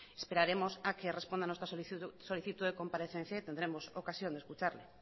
esperaremos a que responda a nuestra solicitud de comparecencia y tendremos ocasión de escucharle